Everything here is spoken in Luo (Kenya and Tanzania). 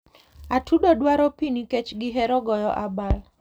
Atudo dwaro pi nikech gihero goyo abal.